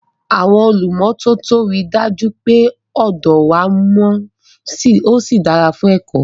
Àwọn olùmọ́tótó rí i dájú pé ọ̀dọ wa mọ́ ó sì dára fún ẹ̀kọ́.